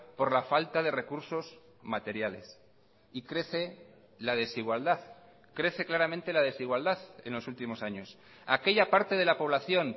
por la falta de recursos materiales y crece la desigualdad crece claramente la desigualdad en los últimos años aquella parte de la población